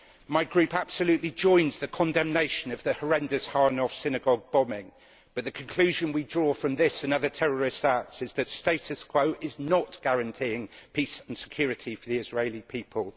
My group absolutely joins the condemnation of the horrendous Har Nof synagogue bombing, but the conclusion we draw from this and other terrorist acts is that status quo is not guaranteeing peace and security for the Israeli people.